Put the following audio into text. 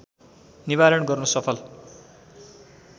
निवारण गर्न सफल